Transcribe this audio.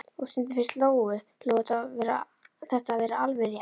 Og stundum fannst Lóu Lóu þetta vera alveg rétt.